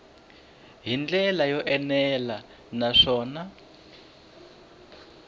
hi ndlela yo enela naswona